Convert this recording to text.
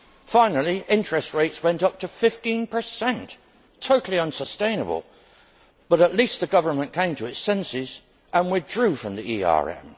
Finally, interest rates went up to 15 totally unsustainable but at least the government came to its senses and withdrew from the ERM.